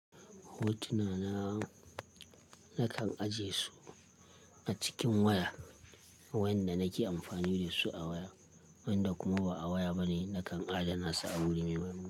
Hotuna na, na kan ajiye su a cikin waya wanda nake amfani da su a waya, wanda kuma ba a waya bane. Nakan adana su a wuri mai.